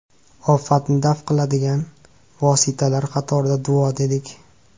Ofatni daf qiladigan vositalar qatorida duo dedik.